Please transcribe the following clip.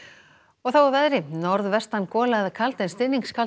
og þá að veðri norðvestan gola eða kaldi en